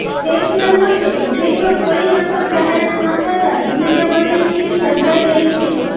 ટેક્સના મોરચે બજેટમાં કોઇ નક્કર જાહેરાત ન થતાં દુવિધાભરી સ્થિતિ સર્જાઈ ગઈ છે